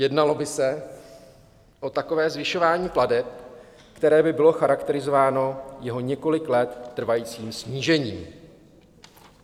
Jednalo by se o takové zvyšování plateb, které by bylo charakterizováno jeho několik let trvajícím snížením.